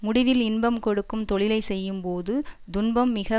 முடிவில் இன்பம் கொடுக்கும் தொழிலை செய்யும் போது துன்பம் மிக